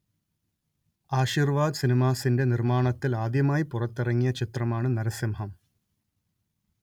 ആശീർവാദ് സിനിമാസിന്റെ നിർമ്മാണത്തിൽ ആദ്യമായി പുറത്തിറങ്ങിയ ചിത്രമാണ് നരസിംഹം